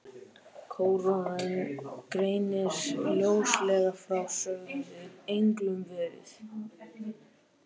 Kóraninn greinir ljóslega frá, sögðum við englunum, verið